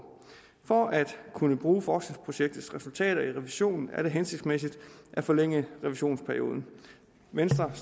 for at kunne bruge forskningsprojektets resultater i revisionen er det hensigtsmæssigt at forlænge revisionsperioden venstre